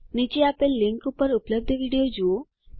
નીચે આપેલ લીંક ઉપર ઉપલબ્ધ વિડીઓ જુઓ